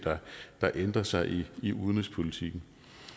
der ændrer sig i i udenrigspolitikken